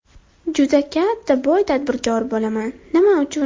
Juda katta boy tadbirkor bo‘laman... Nima uchun?